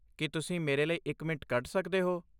ਕੀ ਤੁਸੀਂ ਮੇਰੇ ਲਈ ਇੱਕ ਮਿੰਟ ਕੱਢ ਸਕਦੇ ਹੋ?